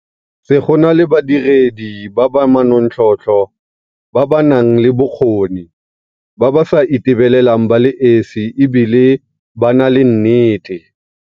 Se go nna le badiredi ba ba manontlhotlho, ba ba nang le bokgoni, ba ba sa itebelelang ba le esi e bile ba na le nnete.